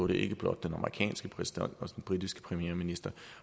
ikke blot den amerikanske præsident men også den britiske premierminister